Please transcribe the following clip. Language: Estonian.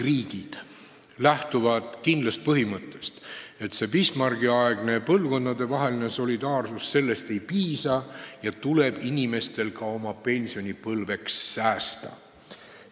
Nüüd lähtub enamik riike kindlast seisukohast, et Bismarcki-aegsest põlvkondadevahelisest solidaarsusest ei piisa ja inimestel endil tuleb pensionipõlveks säästa.